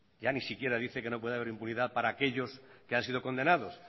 ya ni siquiera dice que no puede haber impunidad para aquellos que han sido condenados